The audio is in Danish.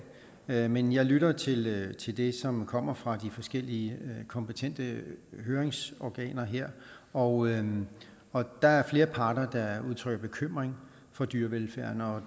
men men jeg lytter til det som det som kommer fra de forskellige kompetente høringsorganer her og og der er flere parter der udtrykker bekymring for dyrevelfærden